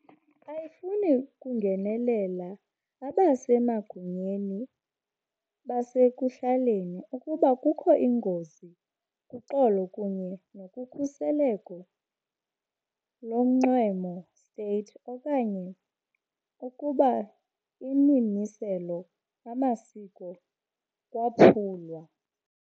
ayifuni ukungenelela abasemagunyeni basekuhlaleni, ukuba kukho ingozi kuxolo kunye nokhuseleko lonxweme State okanye ukuba imimiselo amasiko kwaphulwa.